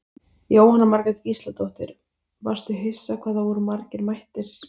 Jóhanna Margrét Gísladóttir: Varstu hissa hvað það voru margir mættir?